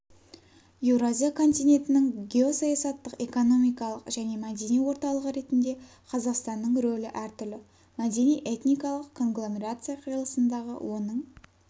еуразия континентінің геосаясаттық экономикалық және мәдени орталығы ретінде қазақстанның рөлі әртүрлі мәдени-этникалық конгломерация қиылысындағы оның